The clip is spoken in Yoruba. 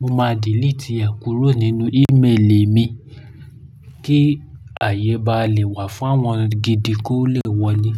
Mo máa diliti ẹ kúrò nínú ímeèlì mi kí ààyè ba lè wà fún àwọn gidi kó le wọlé.